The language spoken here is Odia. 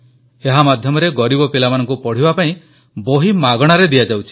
ଏହା ମାଧ୍ୟମରେ ଗରିବ ପିଲାମାନଙ୍କୁ ପଢ଼ିବା ପାଇଁ ବହି ମାଗଣାରେ ଦିଆଯାଉଛି